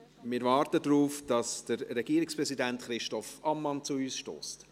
Wir warten, bis Regierungspräsident Christoph Ammann zu uns stösst.